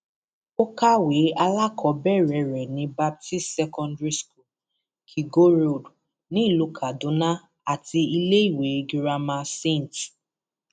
ó kàwé alákọọbẹrẹ rẹ ní baptist secondary school kígo road nílùú kaduna àti iléèwé girama st